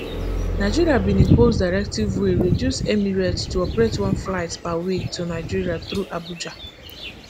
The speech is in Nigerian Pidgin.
nigeria bin impose directive wey reduce emirates to operate one flight per week to nigeria through abuja